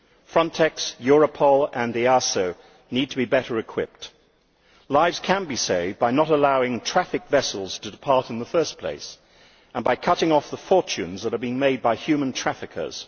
Frontex, Europol and the European Asylum Support Office need to be better equipped. Lives can be saved by not allowing trafficking vessels to depart in the first place and by cutting off the fortunes that are being made by human traffickers.